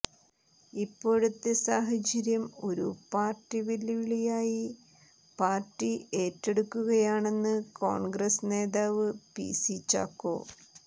ഇപ്പോഴത്തെ സാഹചര്യം ഒരു വെല്ലുവിളിയായി പാർട്ടി ഏറ്റെടുക്കുകയാണെന്ന് കോണ്ഗ്രസ് നേതാവ് പി സി ചാക്കോ